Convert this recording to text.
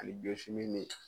Ani min